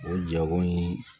O jago in